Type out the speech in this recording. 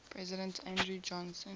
president andrew johnson